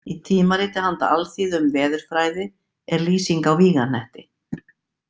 Í „Tímariti handa alþýðu um veðurfræði“, er lýsing á vígahnetti.